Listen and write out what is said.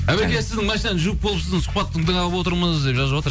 әуеке сіздің машинаны жуып болып сіздің сұхбат тыңдап отырмыз деп жазып жатыр